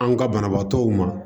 An ka banabaatɔw ma